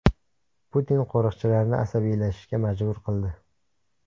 Putin qo‘riqchilarini asabiylashishga majbur qildi .